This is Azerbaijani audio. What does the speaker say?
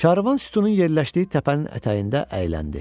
Karvan sütunun yerləşdiyi təpənin ətəyində əyləndi.